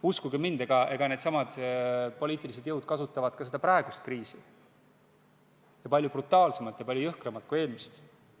Uskuge mind, needsamad poliitilised jõud kasutavad ka praegust kriisi, ja palju brutaalsemalt ja palju jõhkramalt kui eelmist.